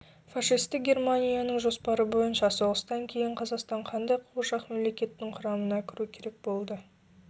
фашистік германияның жоспары бойынша соғыстан кейін қазақстан қандай қуыршақ мемлекетің құрамына кіру керек болды